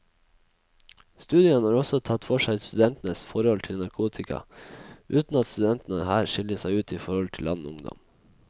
Studien har også tatt for seg studentenes forhold til narkotika, uten at studentene her skiller seg ut i forhold til annen ungdom.